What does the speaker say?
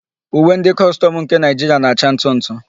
Uwe ndị kọstọmụ nke Naịjiria na-acha ntụ ntụ.